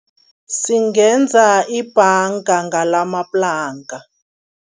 Singenza ibhanga ngalamaplanka.